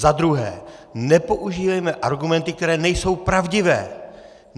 Za druhé, nepoužívejme argumenty, které nejsou pravdivé.